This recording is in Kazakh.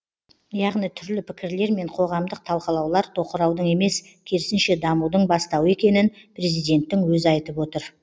яғни түрлі пікірлер мен қоғамдық талқылаулар тоқыраудың емес керісінше дамудың бастауы екенін президенттің өзі айтып отыр